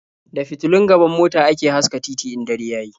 Da fitulun gaban mota ake haska titi in dare ya yi.